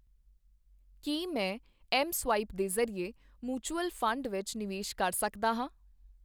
ਕੀ ਮੈਂ ਮਸਵਾਇਪ ਦੇ ਜ਼ਰੀਏ ਮ੍ਚੂਯੂਅਲ ਫੰਡ ਵਿੱਚ ਨਿਵੇਸ਼ ਕਰ ਸਕਦਾ ਹੈ ?